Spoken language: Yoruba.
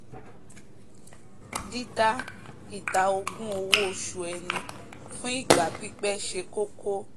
dídá ìdá ogún owó osù ẹni fún ìgbà pípẹ́ se kókó